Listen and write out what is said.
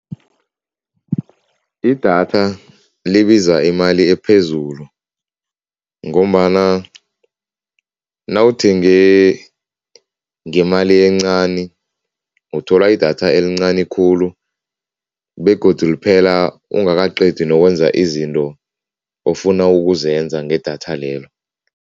Idatha libiza imali ephezulu ngombana nawuthenge ngemali encani, uthola idatha elincani khulu begodu liphela ungakaqedi nokwenza izinto ofuna ukuzenza ngedatha lelo.